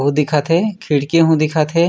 ओ दिखत हे खिड़की हो दिखत हे।